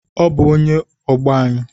Ọ bụ onye ọgbọ anyị